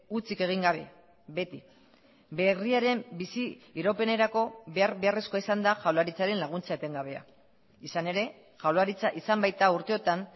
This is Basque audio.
hutsik egin gabe beti berriaren bizi iraupenerako behar beharrezkoa izan da jaurlaritzaren laguntza etengabea izan ere jaurlaritza izan baita urteotan